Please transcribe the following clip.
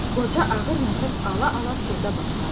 Qoca ağır nəfəs ala-ala sözə başladı.